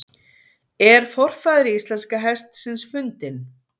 Er forfaðir íslenska hestsins fundinn?